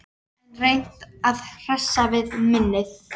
Enn reynt að hressa við minnið